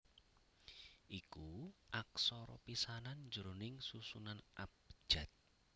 iku aksara pisanan jroning susunan abjad